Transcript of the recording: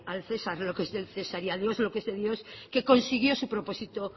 al cesar lo que es del cesar y a dios lo que es de dios que consiguió su propósito